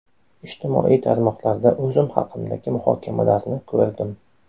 Ijtimoiy tarmoqlarda o‘zim haqimdagi muhokamalarni ko‘rdim.